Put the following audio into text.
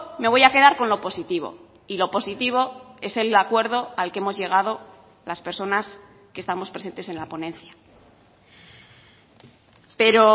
me voy a quedar con lo positivo y lo positivo es el acuerdo al que hemos llegado las personas que estamos presentes en la ponencia pero